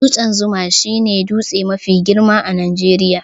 Dutsen zuma shi ne dutse mafi girma a Najeriya